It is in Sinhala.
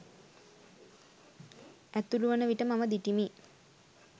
ඇතුළුවන විට මම දිටිමි.